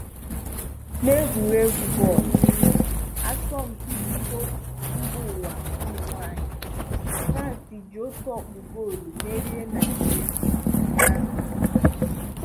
Na egwuregwu bọọlụ, asọmpi iko mbaụwa ụmụnwanyị, France ji otu ọkpụ goolu merie Naịjirịa ụnyaahụ.